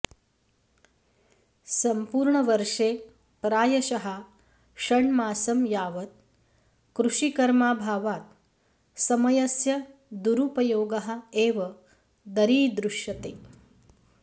सम्पूर्णवर्षे प्रायशः षण्मासं यावत् कृषिकर्माभावात् समयस्य दुरुपयोगः एव दरीदृश्यते